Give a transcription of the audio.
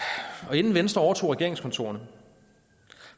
inden venstre overtog regeringskontorerne